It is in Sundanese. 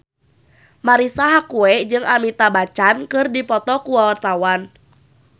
Marisa Haque jeung Amitabh Bachchan keur dipoto ku wartawan